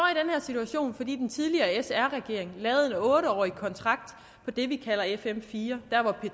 situation fordi den tidligere sr regering lavede en otte årig kontrakt på det vi kalder fm fire der hvor